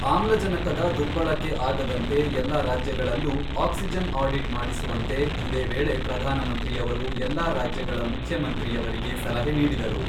ಆಮ್ಲಜನಕದ ದುರ್ಬಳಕೆ ಆಗದಂತೆ ಎಲ್ಲ ರಾಜ್ಯಗಳಲ್ಲೂ ಆಕ್ಸಿಜನ್ ಆಡಿಟ್ ಮಾಡಿಸುವಂತೆ ಇದೇ ವೇಳೆ ಪ್ರಧಾನಮಂತ್ರಿಯವರು ಎಲ್ಲಾ ರಾಜ್ಯಗಳ ಮುಖ್ಯಮಂತ್ರಿಯವರಿಗೆ ಸಲಹೆ ನೀಡಿದರು.